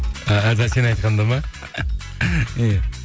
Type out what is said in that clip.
сен айтқанда ма иә